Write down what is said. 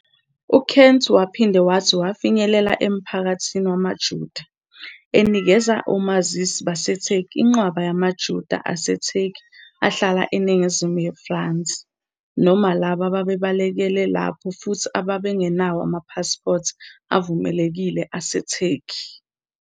UKent uphinde wathi wafinyelela emphakathini wamaJuda, enikeza omazisi baseTurkey inqwaba yamaJuda aseTurkey ahlala eningizimu yeFrance, noma labo ababebalekele lapho futhi ababengenawo amapasipoti avumelekile aseTurkey.